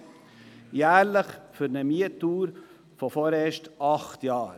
dies jährlich für eine Mietdauer von vorerst acht Jahren.